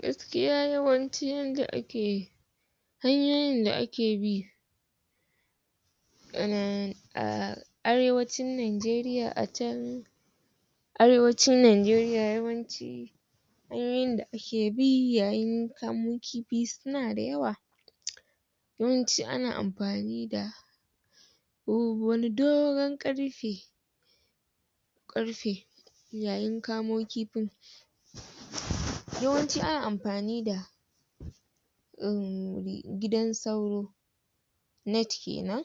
gaskiya yawancin yanda ake hanyoyin da ake bi a arewacin Nanjeriya a can arewacin Nanjeriya yawanci hanyoyin da a ke bi yayin kamo kifi suna da yawa yawanci ana amfani da wani dogon ƙarfe ƙarfe yayin kamo kifin yawanci ana amfani da gidan sauro net kenan